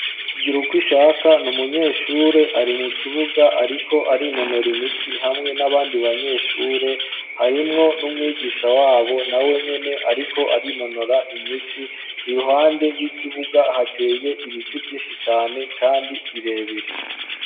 Giruwishaka ni umunyeshure ari mu kibuga ariko ari inonora imitsi hamwe n'abandi banyeshure harimwo n'umwigisha wabo na wenyine ariko ariinonora imitsi iruhande y'ikibuga hateye ibiti byinshi cyane kandi birebere.